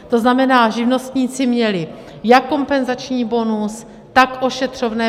To znamená, že živnostníci měli jak kompenzační bonus, tak ošetřovné.